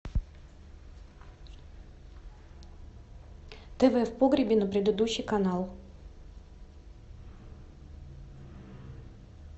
тв в погребе на предыдущий канал